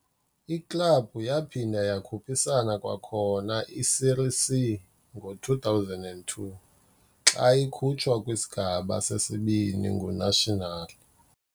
Iklabhu yaphinda yakhuphisana kwakhona i-Série C kwi-2002, xa ikhutshwe kwiSigaba seSibini nguNacional.